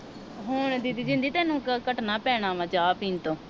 ਹੁਣ ਦੀਦੀ ਜਿੰਦੀ ਤੈਨੂੰ ਕਟਣਾ ਪੈਣਾ ਵਾ ਚਾਹ ਪੀਣ ਤੋਂ